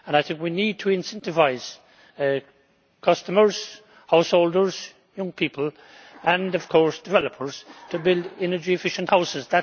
I think we need to incentivise customers, householders, young people and, of course, developers to build energy efficient houses.